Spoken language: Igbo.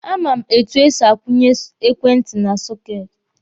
A ma m etu e si akwụnye ekwentị na soketi.